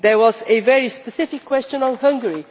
There was a very specific question on Hungary.